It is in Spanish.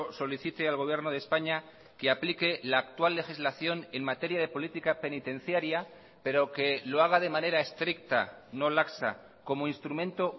solicite al gobierno de españa que aplique la actual legislación en materia de política penitenciaria pero que lo haga de manera estricta no laxa como instrumento